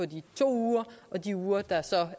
de to uger og de uger der så